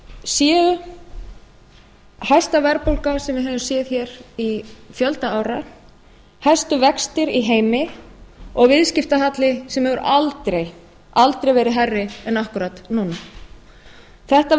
séu hæsta verðbólga sem við höfum séð hér í fjölda ára hæstu vextir í heimi og viðskiptahalli sem hefur aldrei aldrei verið hærri en akkúrat núna þetta